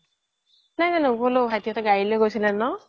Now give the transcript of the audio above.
নাই নাই ন্গ'লো ভাইতি হ্'তে গাৰি লৈ গৈছিলে ন